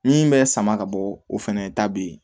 Min bɛ sama ka bɔ o fɛnɛ ta bɛ yen